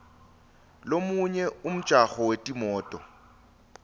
lomunye wemjaho wetimoto